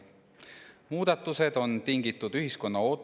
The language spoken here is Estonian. Muudatused on tingitud ühiskonna ootusest.